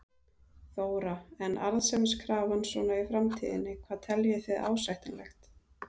Þóra: En arðsemiskrafan svona í framtíðinni, hvað teljið þið ásættanlegt?